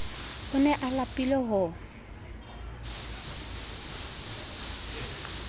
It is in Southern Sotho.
o ne a lapile ho